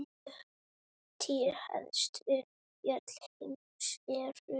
Tíu hæstu fjöll heims eru